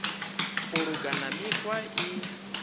u luga na mikhwa i